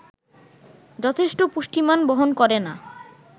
যথেষ্ট পুষ্টিমান বহন করে না